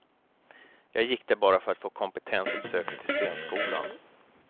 Jag gick där bara för att få kompetens att söka till scenskolan.